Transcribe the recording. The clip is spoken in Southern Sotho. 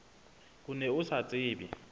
o ne o sa tsebe